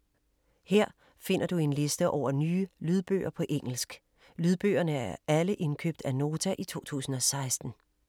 Her finder du en liste over nye lydbøger på engelsk. Lydbøgerne er alle indkøbt af Nota i 2016.